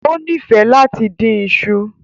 O nifẹ lati din iṣu